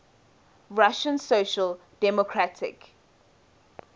russian social democratic